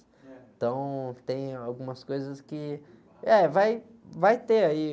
Então, tem algumas coisas que... É, vai, vai ter aí.